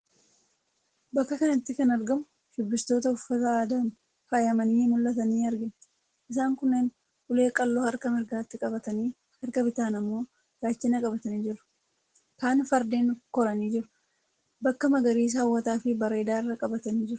Bakka kanatti kan argamu shubbistoota uffata aadaan faayamanii mullatan argina .isaan kunneen ulee qalloo harka mirgaatti qabatanii, harka bitaan ammoo gaachana qabatanii jiru. Kaan fardeen koranii jiru. Bakka magariisa hawwataafi bareedaarra qabatanii jiru.